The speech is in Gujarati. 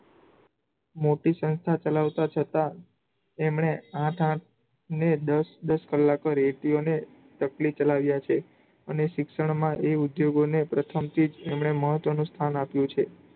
મોટી સંસ્થા ચલાવતા છતાં એમણે આઠ આઠ ને દસ દસ કલાકો રેટીયો ને તકલી ચલાવ્યા છે, અને શિક્ષણમાં એ ઉદ્ધયોગોને પ્રથમ ચીજ એમણે મહત્વનું સ્થાન આપ્યું છે.